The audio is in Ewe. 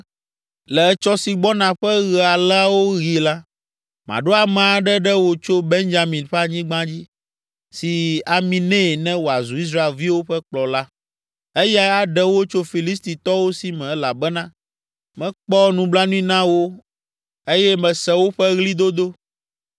“Le etsɔ si gbɔna ƒe ɣe aleawo ɣi la, maɖo ame aɖe ɖe wò tso Benyamin ƒe anyigba dzi. Si ami nɛ ne wòazu Israelviwo ƒe kplɔla. Eyae aɖe wo tso Filistitɔwo si me elabena mekpɔ nublanui na wo eye mese woƒe ɣlidodo.”